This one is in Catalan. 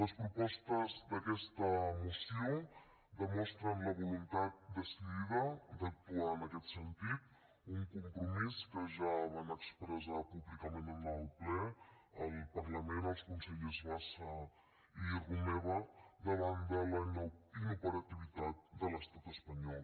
les propostes d’aquesta moció demostren la voluntat decidida d’actuar en aquest sentit un compromís que ja van expressar públicament en el ple al parlament els consellers bassa i romeva davant de la inoperativitat de l’estat espanyol